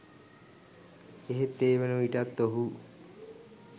එහෙත් ඒ වනවිටත් ඔහු